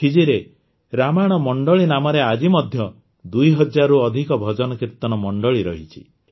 ଫିଜିରେ ରାମାୟଣ ମଣ୍ଡଳୀ ନାମରେ ଆଜି ମଧ୍ୟ ଦୁଇ ହଜାରରୁ ଅଧିକ ଭଜନକୀର୍ତ୍ତନ ମଣ୍ଡଳୀ ରହିଛି